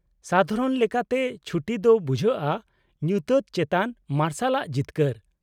-ᱥᱟᱫᱷᱟᱨᱚᱱ ᱞᱮᱠᱟᱛᱮ, ᱪᱷᱩᱴᱤ ᱫᱚ ᱵᱩᱡᱷᱟᱹᱜᱼᱟ ᱧᱩᱛᱟᱹᱛ ᱪᱮᱛᱟᱱ ᱢᱟᱨᱥᱟᱞᱟᱜ ᱡᱤᱛᱠᱟᱹᱨ ᱾